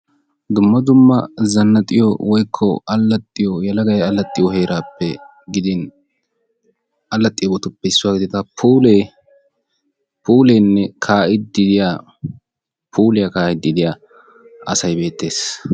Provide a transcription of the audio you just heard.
Dumma dumma zanaxxiyo woykko alaxxiyo yelagay alaxxiyo herappe gidin alaxxiyo puule puulenne kaa'ide diyaa puuliyaa kaa'ide diyaa asay beettees.